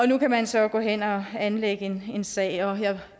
nu kan man så gå hen og anlægge en sag jeg